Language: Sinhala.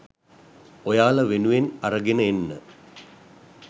ඔයාලා වෙනුවෙන් අරගෙන එන්න